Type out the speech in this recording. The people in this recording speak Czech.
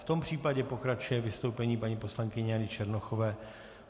V tom případě pokračuje vystoupení paní poslankyně Jany Černochové.